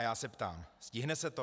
A já se ptám: Stihne se to?